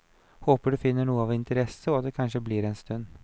Håper du finner noe av interesse, og at du kanskje blir en liten stund.